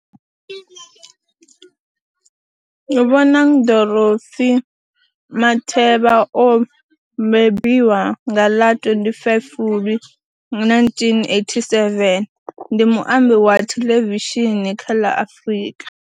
Bonang Dorothy Matheba o bebiwa nga ḽa 25 Fulwi 1987, ndi muambi wa thelevishini kha la Afrika